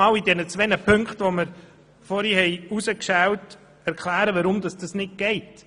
Nun erkläre ich anhand der vorhin herausgeschälten zwei Punkte, weshalb dies nicht möglich ist.